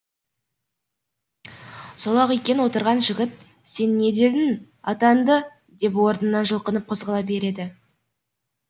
сол ақ екен отырған жігіт сен не дедің атанды деп орнынан жүлқынып қозғала береді